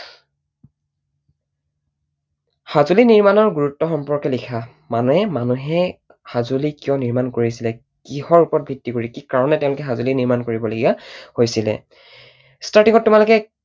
সঁজুলি নিৰ্মাণৰ গুৰুত্ব সম্পৰ্কে লিখা। মানে মানুহে সঁজুলি কিয় নিৰ্মাণ কৰিছিলে? কিহৰ ওপৰত ভিত্তি কৰি, কি কাৰণত তেঁওলোকে সঁজুলি নিৰ্মাণ কৰিবলগীয়া হৈছিলে। starting ত তোমালোকে